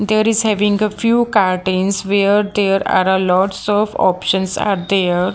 there is a winger few curtains where there are a lots of options are there.